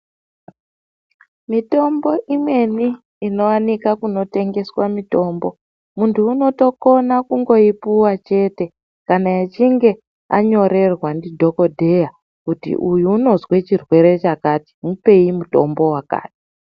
Mitombo imweni inowanika kuno tengeswa mitombo muntu unoto kona kungoyi puwa chete kana echinge anyorerwa ndi dhokodheya kuti uyu unozwe chirwere chakati mupei mutombo wakati.